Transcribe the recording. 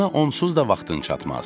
Buna onsuz da vaxtın çatmaz.